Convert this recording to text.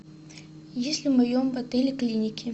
есть ли в моем отеле клиники